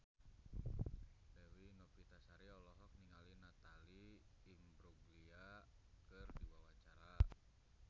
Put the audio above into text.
Dewi Novitasari olohok ningali Natalie Imbruglia keur diwawancara